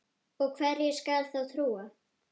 Og hverju skal þá trúa?